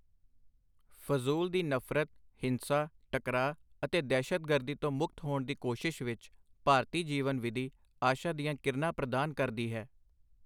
ਫਜ਼ੂਲ ਦੀ ਨਫ਼ਰਤ, ਹਿੰਸਾ, ਟਕਰਾਅ ਅਤੇ ਦਹਿਸ਼ਤਗਰਦੀ ਤੋਂ ਮੁਕਤ ਹੋਣ ਦੀ ਕੋਸ਼ਿਸ਼ ਵਿੱਚ, ਭਾਰਤੀ ਜੀਵਨ ਵਿਧੀ ਆਸ਼ਾ ਦੀਆਂ ਕਿਰਨਾਂ ਪ੍ਰਦਾਨ ਕਰਦੀ ਹੈ।